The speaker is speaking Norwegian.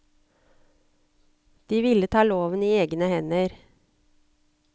De ville ta loven i egne hender.